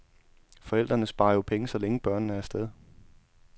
Forældrene sparer jo penge, så længe børnene er af sted.